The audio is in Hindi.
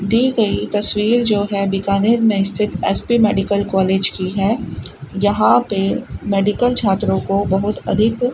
दी गई तस्वीर जो है बिकानेर में स्थित एस_पी मेडिकल कॉलेज की हैं जहां पे मेडिकल छात्रों को बहोत अधिक--